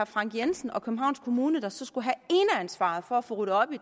frank jensen og københavns kommune der så skulle have ansvaret for at få ryddet op i